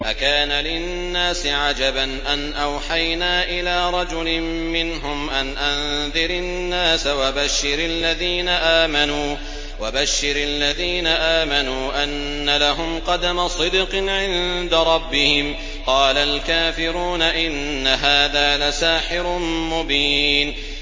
أَكَانَ لِلنَّاسِ عَجَبًا أَنْ أَوْحَيْنَا إِلَىٰ رَجُلٍ مِّنْهُمْ أَنْ أَنذِرِ النَّاسَ وَبَشِّرِ الَّذِينَ آمَنُوا أَنَّ لَهُمْ قَدَمَ صِدْقٍ عِندَ رَبِّهِمْ ۗ قَالَ الْكَافِرُونَ إِنَّ هَٰذَا لَسَاحِرٌ مُّبِينٌ